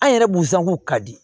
An yɛrɛ b'u sanku ka di